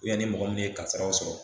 ni mɔgɔ min kasaraw sɔrɔ